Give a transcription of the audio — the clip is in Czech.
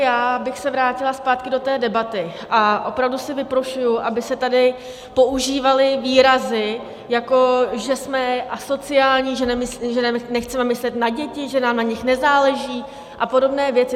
Já bych se vrátila zpátky do té debaty a opravdu si vyprošuji, aby se tady používaly výrazy, jako že jsme asociální, že nechceme myslet na děti, že nám na nich nezáleží a podobné věci.